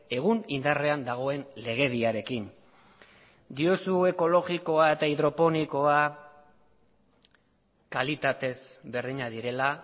egun indarrean dagoen legediarekin diozu ekologikoa eta hidroponikoa kalitatez berdinak direla